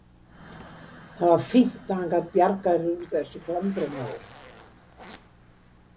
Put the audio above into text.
Það var fínt að hann gat bjargað þér úr þessu klandri, maður!